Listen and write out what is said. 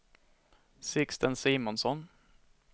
Sixten Simonsson